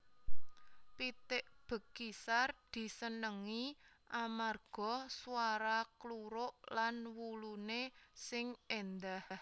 Pitik Bekisar disenengi amarga swara kluruk lan wuluné sing éndah